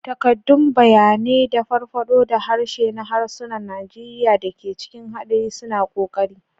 Takaddun bayanai da farfaɗo da harshe na harsunan Najeriya da ke cikin haɗari suna ƙoƙari.